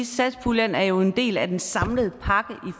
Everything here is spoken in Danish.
satspuljen er jo en del af den samlede pakke